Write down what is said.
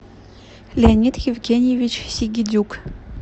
леонид евгеньевич сигидюк